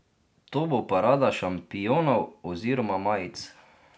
To bo parada šampionov oziroma majic.